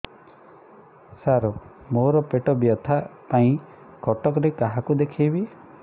ସାର ମୋ ର ପେଟ ବ୍ୟଥା ପାଇଁ କଟକରେ କାହାକୁ ଦେଖେଇବି